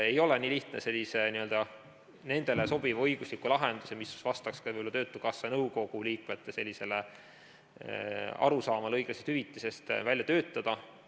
Ei ole nii lihtne sellist sobivat õiguslikku lahendust, mis vastaks ka töötukassa nõukogu liikmete arusaamale õiglasest hüvitisest, välja töötada.